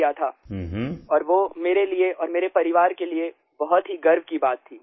लिया था और वो मेरे लिए और मेरे परिवार के लिए बहुत ही गर्व की बात थी